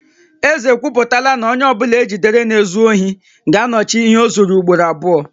Eze ekwuputala na onye ọ bụla e jidere na-ezu ohi ga-anọchi ihe o zuru ugboro abụọ